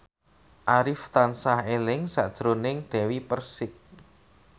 Arif tansah eling sakjroning Dewi Persik